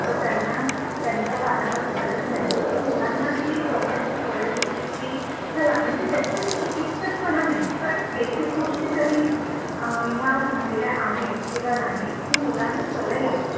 तर त्यांना त्यांच्या कानावर घालत राहिलो तर मुलांना ती एक बघण्याची सवय होते चल त्या मध्ये चिकित्सक पणा असा नही पण बेसिक गोष्टी तरी ह्या झालेल्या आहेत किंवा नाही हे मुलांना सवय लागते